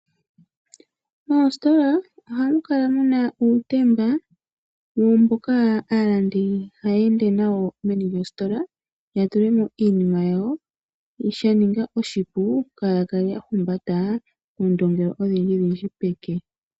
Moositola ohamu kala muna uutemba mboka aalandi haya ende nawo meni lyoositola ya tulemo iinima yawo shaninga oshipu kaaaya kale ya humbata oondumba odhindji pomake